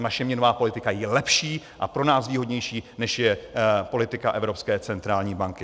A naše měnová politika je lepší a pro nás výhodnější, než je politika Evropské centrální banky.